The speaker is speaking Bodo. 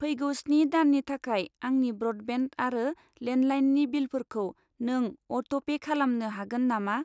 फैगौ स्नि दाननि थाखाय आंनि ब्र'डबेन्ड आरो लेन्डलाइननि बिलफोरखौ नों अट'पे खालामनो हागोन नामा?